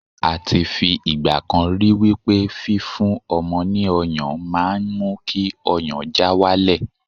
a ti fi igbakan ri wipe fi fún ọmọ ni ọyàn ma n mu ki ọyàn já walẹ